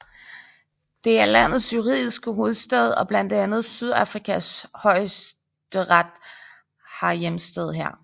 Det er landets juridiske hovedstad og blandt andet Sydafrikas højesteret har hjemsted her